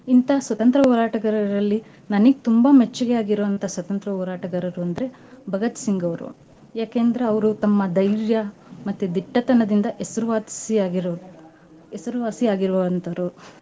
ಇಂತ ಸ್ವತಂತ್ರ್ಯ ಹೋರಾಟಗಾರರಲ್ಲಿ ನನಿಗ್ ತುಂಬಾ ಮೆಚ್ಚಿಗೆ ಆಗಿರುವಂತ ಸ್ವತಂತ್ರ್ಯ ಹೋರಾಟಗಾರರು ಅಂದ್ರೆ ಭಗತ್ ಸಿಂಗ್ ಅವ್ರು. ಯಾಕೆಂದ್ರ ಅವ್ರು ತಮ್ಮ ಧೈರ್ಯ ಮತ್ತೆ ದಿಟ್ಟತನದಿಂದ ಹೆಸರ್ವಾಸಿ ಆಗೀರೋರು ಹೆಸರುವಾಸಿ ಆಗೀರೋವಂತೊರು.